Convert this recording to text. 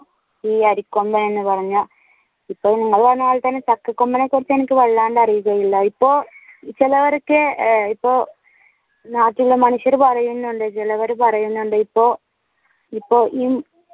ഈ അരിക്കൊമ്പൻ എന്ന് പറഞ്ഞ ഇപ്പൊ ഉള്ളത് തന്നെ ചക്കക്കൊമ്പനെ കുറിച്ച് എനിക്ക് വല്ലാണ്ട് അറിയുകയില്ല ഇപ്പൊ ചിലവർക്ക് ഇപ്പൊ നാട്ടിലെ മനുഷ്യർ പറയുന്നുണ്ട് ചിലവർ പറയുന്നുണ്ട് ഇപ്പൊ ഇപ്പൊ